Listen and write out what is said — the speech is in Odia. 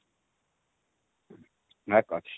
ଭାକ୍ ଅଛି